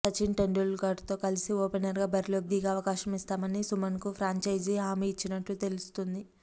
సచిన్ టెండూల్కర్తో కలిసి ఓపెనర్గా బరిలోకి దిగే అవకాశం ఇస్తామని సుమన్కు ఫ్రాంచైజీ హామీ ఇచ్చినట్లు తెలిసింది